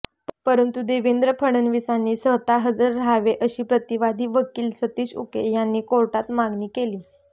परंतु देवेंद्र फडणवीसांनी स्वतः हजर राहावे अशी प्रतिवादी वकील सतीश उके यांनी कोर्टात मागणी केली